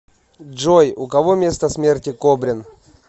джой у кого место смерти кобрин